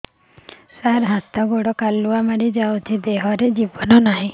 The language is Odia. ସାର ହାତ ଗୋଡ଼ କାଲୁଆ ମାରି ଯାଉଛି ଦେହର ଗତର ନାହିଁ